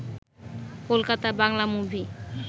Kolkata Bangla movie